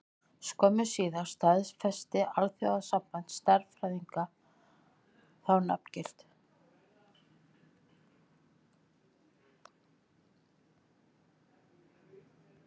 Skömmu síðar staðfesti Alþjóðasamband stjarnfræðinga þá nafngift.